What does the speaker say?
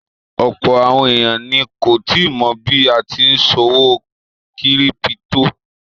Ọ̀pọ̀ àwọn èèyàn ni kò tíì mọ̀ bí a tí n ṣòwò kírípítò